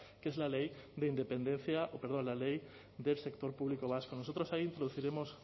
que es la ley del sector público vasco nosotros ahí